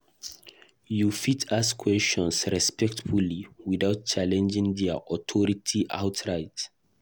You fit ask questions respectfully without challenging their authority outright.